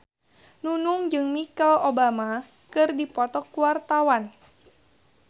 Nunung jeung Michelle Obama keur dipoto ku wartawan